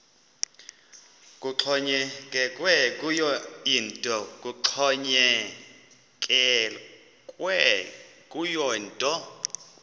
kuxhonyekekwe kuyo yinto